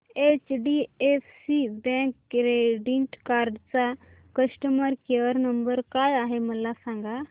HDFC bank credit card चा customer care number काय आहे मला सांगा